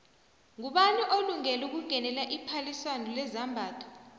ngubani olungele ukungenela iphaliswano lezambatho